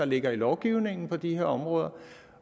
ligger i lovgivningen på de her områder